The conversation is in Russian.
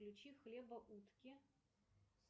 включи хлебоутки